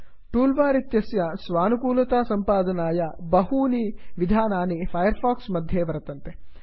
tool bar इत्यस्य स्वानुकूलतासम्पादनाय बहूनि विधानानि फैर् फाक्स् मध्ये वर्तन्ते